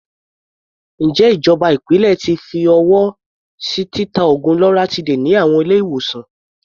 Ǹjẹ́ ìjọba ìpínlẹ̀ ti fi ọwọ́ sí títa oògùn loratiday ní àwọn ilé-ìwòsàn?